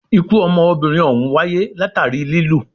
Ikú ọmọbìnrin òhún wáyé látàri lilù.